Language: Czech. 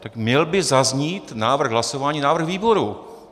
Tak měl by zaznít návrh hlasování, návrh výboru.